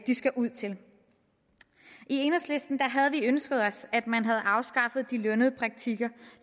de skal ud til i enhedslisten havde vi ønsket os at man havde afskaffet de lønnede praktikker